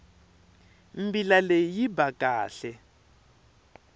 mbila leyi yi ba kahle